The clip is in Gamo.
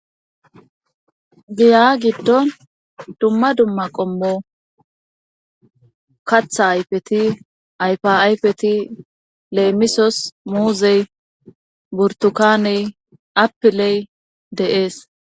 giya giddon dumma dumma qommo katha ayfeti ayfaayfeti leemisos muuzey burtukaaney appiley deees